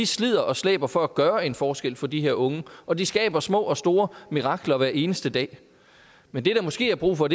slider og slæber for at gøre en forskel for de her unge og de skaber små og store mirakler hver eneste dag men det der måske er brug for